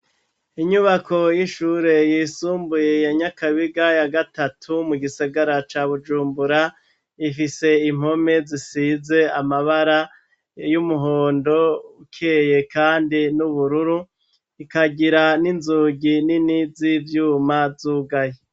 Inyubako y'ishure yisumbuye ya Nyakabiga ya gatatu mu gisigara ca Bujumbura, ifise impome zisize amabara y'umuhondo ukeye kandi n'ubururu. Ikagira n'inzugi nini z' ivyuma zugaye.